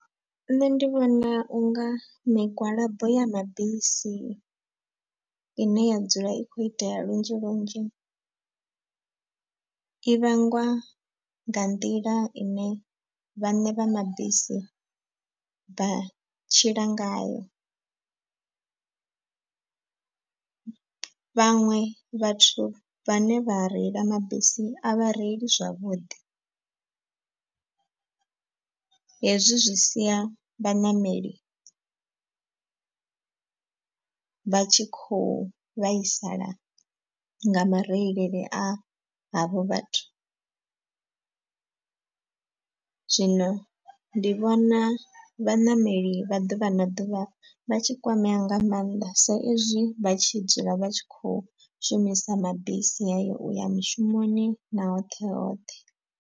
Nṋe ndi vhona u nga migwalabo ya mabisi ine ya dzula i khou itea lunzhi lunzhi i vhangwa nga nḓila ine vhaṋe vha mabisi vha tshila ngayo. Vhaṅwe vhathu vhane vha reila mabisi a vha reili zwavhuḓi. Hezwi zwi sia vhaṋameli vha tshi khou vhaisala nga mareilele a havho vhathu. Zwino ndi vhona vhaṋameli vha ḓuvha na ḓuvha vha tshi kwamea nga maanḓa sa izwi vha tshi dzula vha tshi khou shumisa mabisi haya uya mushumoni na hoṱhe hoṱhe.